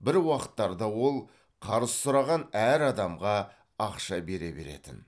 бір уақыттарда ол қарыз сұраған әр адамға ақша бере беретін